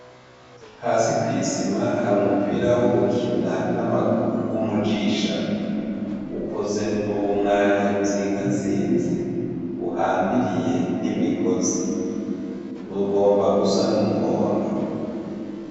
Hasi kwi sima hari umupira wo gukina n' amaguru w' umujishano ukozee mubumwanya buzingazinze buhambiriye n' imigozi bugomba gusa n' umuhondo.